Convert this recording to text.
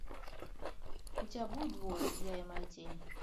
у тебя будет двое я и моя тень